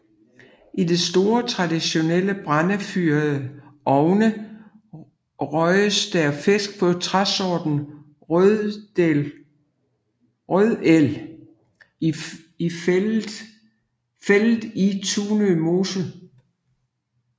I de store traditionelle brændefyrede ovne røges der fisk på træsorten rødel fældet i Tunø Mose